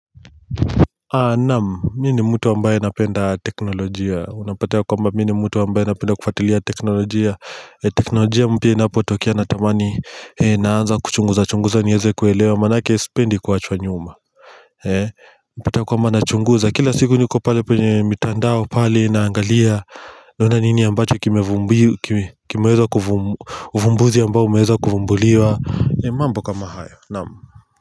Naam, mimi ni mtu ambaye anapenda teknolojia. Unapata ya kwamba mimi ni mtu ambaye anapenda kufuatilia teknolojia, teknolojia mpya inapotokea natamani naanza kuchunguza chunguza niweze kuelewa, maanake sipendi kuachwa nyuma Ninachunguza, kila siku niko pale kwenye mitandao pale naangalia, naona nini ambacho uvumbuzi ambao umeweza kuvumbuliwa, mambo kama hayo, naam.